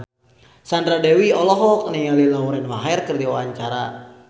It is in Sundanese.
Sandra Dewi olohok ningali Lauren Maher keur diwawancara